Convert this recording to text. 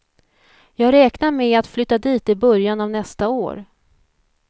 Jag räknar med att flytta dit i början av nästa år.